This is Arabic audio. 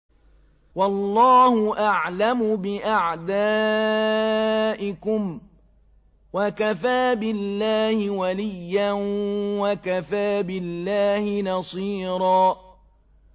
وَاللَّهُ أَعْلَمُ بِأَعْدَائِكُمْ ۚ وَكَفَىٰ بِاللَّهِ وَلِيًّا وَكَفَىٰ بِاللَّهِ نَصِيرًا